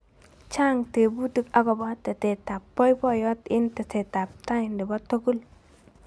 chang tebutik akobo tetet ab boiboyot eng teset ab tai nebo tugul